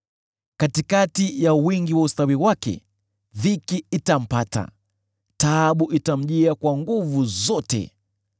Katikati ya wingi wa ustawi wake, dhiki itampata; taabu itamjia kwa nguvu zote.